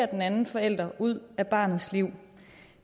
den anden forælder ud af barnets liv